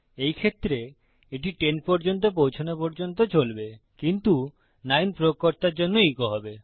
এই ক্ষেত্রে এটি 10 পর্যন্ত পৌছানো পর্যন্ত চলবে কিন্তু 9 প্রয়োগকর্তার জন্য ইকো হবে